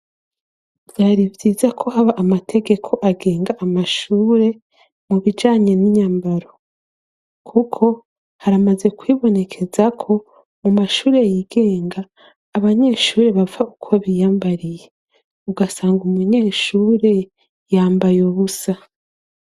byari byiza ko haba amategeko agenga amashure mu bijanye n'inyambaro kuko haramaze kwibonekeza ko mu mashure y'igenga abanyeshuri bapfa uko biyambariye ugasanga umunyeshuri yambaye ubusa